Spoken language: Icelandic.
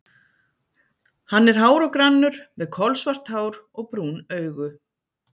Hann er hár og grannur, með kolsvart hár og brún augu.